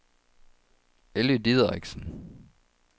Elly Dideriksen